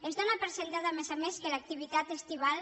es dóna per fet a més a més que l’activitat estival